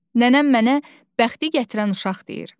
Nənəm mənə bəxti gətirən uşaq deyir.